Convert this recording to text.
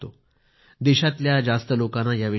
देशातील जास्त लोकांना याविषयी माहिती नाही